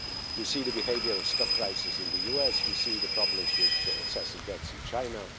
We see the behaviour of stock prices in the US we see problems with excessive debts in China